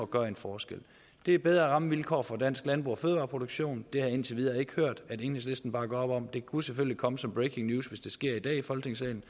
gøre en forskel det er bedre rammevilkår for dansk landbrug og fødevareproduktion det har jeg indtil videre ikke hørt at enhedslisten bakker op om det kunne selvfølgelig komme som breaking news hvis det sker i dag i folketingssalen